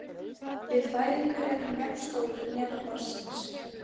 Við fæðingu er hann jafn stór hnefa barnsins.